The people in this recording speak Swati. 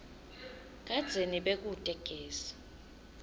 kadzeni bekute gesi